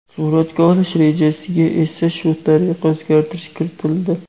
Suratga olish rejasiga esa shu tariqa o‘zgartirish kiritildi.